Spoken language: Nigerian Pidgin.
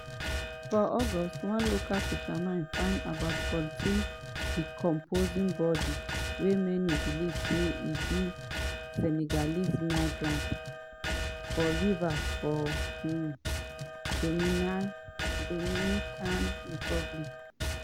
for august one local fisherman find about 14 decomposing bodies wey many believe say be senegalese migrants for river for um dominican republic.